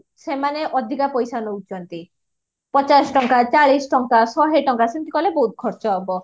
ସେମାନେ ଅଧିକ ପଇସା ନୋଉଚନ୍ତି ପଚାଶ ଟଙ୍କା ଚାଳିଶ ଟଙ୍କା ସେମତି କାଲେ ବୋହୁତ ଖର୍ଚ ହବ